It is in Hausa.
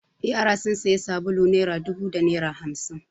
Yara sun sayi sabulu naira dubu da naira hamsin.